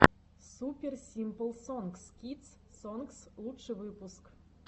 супер симпл сонгс кидс сонгс лучший выпуск